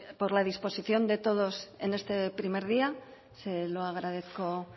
por la disposición de todos en este primer día se lo agradezco